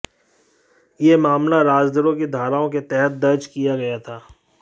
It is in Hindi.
यह मामला राजद्रोह की धाराओं के तहत दर्ज किया गया था